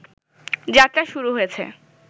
যাত্রা শুরু হয়েছে